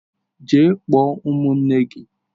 Jee kpọọ ụmụnne gi!